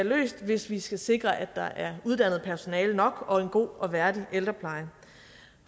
løst hvis vi skal sikre at der er uddannet personale nok og en god og værdig ældrepleje